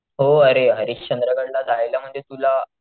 हो अरे हरिश्चंद्र गड ला जायला म्हणजे तुला,